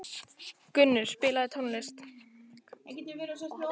Gunnur, spilaðu tónlist.